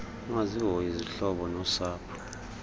ukungazihoyi izihlobo nosapho